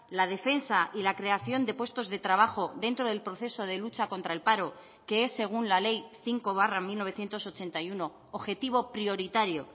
la defensa y la creación de puestos de trabajo dentro del proceso de lucha contra el paro que es según la ley cinco barra mil novecientos ochenta y uno objetivo prioritario